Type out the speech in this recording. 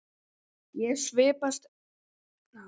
Ég svipast um í kringum mig.